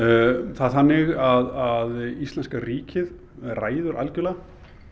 það er þannig að íslenska ríkið ræður algjörlega